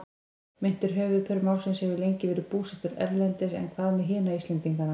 Meintur höfuðpaur málsins hefur lengi verið búsettur erlendis en hvað með hina Íslendingana?